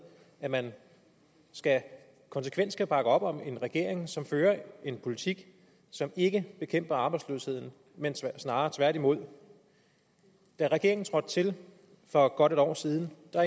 at man konsekvent skal bakke op om en regering som fører en politik som ikke bekæmper arbejdsløsheden snarere tværtimod da regeringen trådte til for godt en år siden